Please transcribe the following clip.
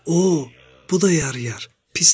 "O, bu da yarayar, pis deyil.